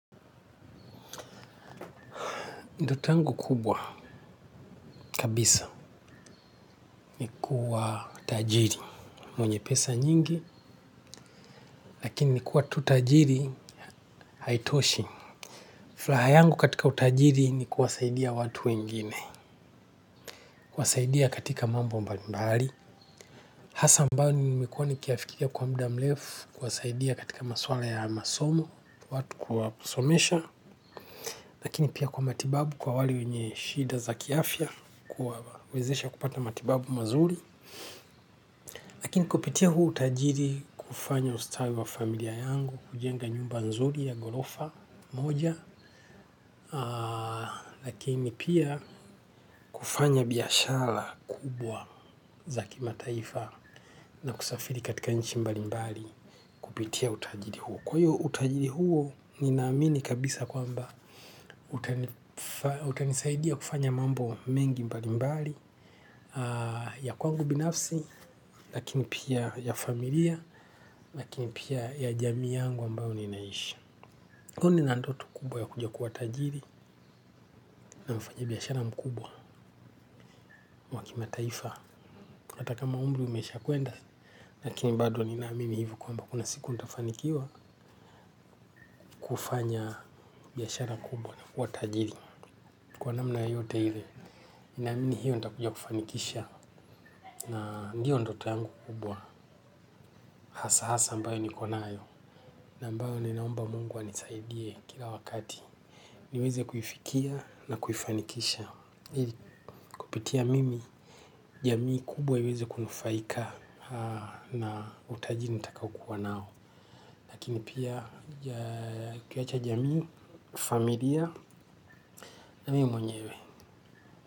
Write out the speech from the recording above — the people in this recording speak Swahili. Ndoto yangu kubwa kabisa ni kuwa tajiri mwenye pesa nyingi lakini kuwa tu tajiri haitoshi. Fraha yangu katika utajiri ni kuwasaidia watu wengine. Kuwasaidia katika mambo mbalimbali hasa ambayo nimekuwa nikiyafikiria kwa muda mlefu kuwasaidia katika maswala ya masomo. Watu kuwasomesha lakini pia kwa matibabu kwa wale wenye shida za kiafia kuwawezesha kupata matibabu mazuri. Lakini kupitia huu utajiri kufanya ustawi wa familia yangu, kujenga nyumba nzuri ya golofa moja, lakini pia kufanya biashara kubwa za kimataifa na kusafiri katika nchi mbali mbali kupitia utajiri huu. Ninaamini kabisa kwamba utanisaidia kufanya mambo mengi mbalimbali ya kwangu binafsi lakini pia ya familia lakini pia ya jamii yangu ambayo ninaishi. Kwani nina ndoto kubwa ya kuja kuwa tajiri na mfanya biashara mkubwa wa kimataifa. Hata kama umbri umeshakwenda lakini bado ninaamini hivo kwamba kuna siku ndafanikiwa kufanya biashara kubwa na kuwa tajiri. Kwa namna yoyote ile, ninamini hiyo nitakuja kufanikisha. Na ndio ndoto yangu kubwa. Hasa hasa ambayo niko nayo na ambayo ninaomba Mungu anisaidie kila wakati. Niweze kuifikia na kuifanikisha kupitia mimi, jamii kubwa iweze kunufaika. Na utaji nitakaokua nao lakini pia kuiacha jamii, familia na mi mwenyewe.